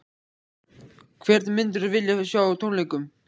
Hvern myndirðu vilja sjá á tónleikum?